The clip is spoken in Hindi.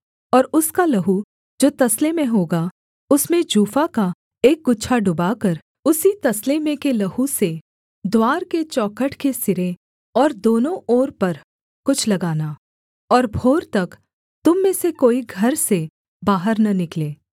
और उसका लहू जो तसले में होगा उसमें जूफा का एक गुच्छा डुबाकर उसी तसले में के लहू से द्वार के चौखट के सिरे और दोनों ओर पर कुछ लगाना और भोर तक तुम में से कोई घर से बाहर न निकले